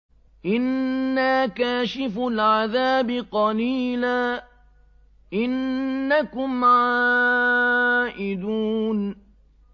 إِنَّا كَاشِفُو الْعَذَابِ قَلِيلًا ۚ إِنَّكُمْ عَائِدُونَ